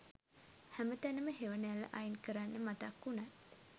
හැම තැනම හෙවනැල්ල අයින් කරන්න මතක් වුණත්